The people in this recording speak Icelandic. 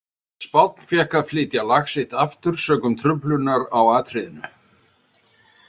Spánn fékk að flytja lag sitt aftur sökum truflunar á atriðinu.